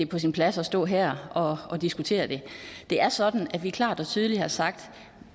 på sin plads at stå her og og diskutere det det er sådan at vi klart og tydeligt har sagt at